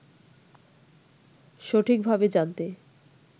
সঠিকভাবে জানতে